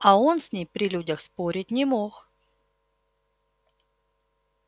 а он с ней при людях спорить не мог